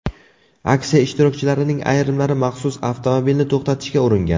Aksiya ishtirokchilarining ayrimlari maxsus avtomobilni to‘xtatishga uringan.